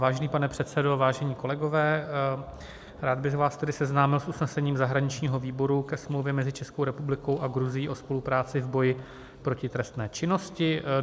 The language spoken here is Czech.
Vážený pane předsedo, vážení kolegové, rád bych vás tedy seznámil s usnesením zahraničního výboru ke Smlouvě mezi Českou republikou a Gruzií o spolupráci v boji proti trestné činnosti.